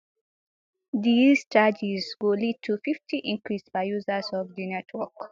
dis charges go lead to fifty increase by users of di network